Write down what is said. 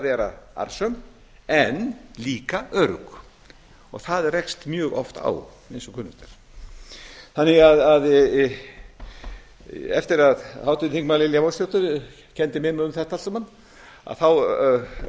vera arðsöm en líka örugg og það rekst mjög oft á eins og kunnugt er eftir að háttvirtir þingmenn lilja mósesdóttir kenndi mér um þetta allt saman þá hugleiddi